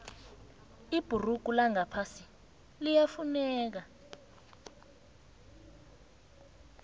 ibhurugu langaphasi liyafuneka